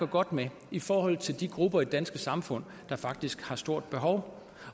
godt med i forhold til de grupper i det danske samfund der faktisk har et stort behov